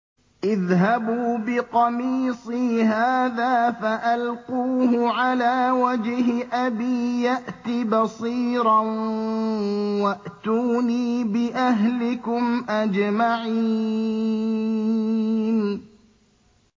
اذْهَبُوا بِقَمِيصِي هَٰذَا فَأَلْقُوهُ عَلَىٰ وَجْهِ أَبِي يَأْتِ بَصِيرًا وَأْتُونِي بِأَهْلِكُمْ أَجْمَعِينَ